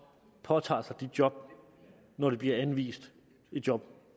påtager sig et job når de bliver anvist et job